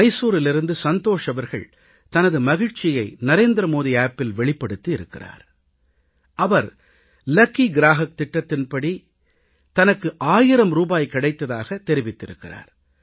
மைசூரிலிருந்து சந்தோஷ் அவர்கள் தனது மகிழ்ச்சியை நரேந்திர மோடி செயலியில் வெளிப்படுத்தி இருக்கிறார் அவர் அதிர்ஷ்ட வாடிக்கையாளர் திட்டத்தின் லக்கி க்ராஹக் யோஜனா மூலமாக தனக்கு 1000 ரூபாய் கிடைத்ததாகத் தெரிவித்திருக்கிறார்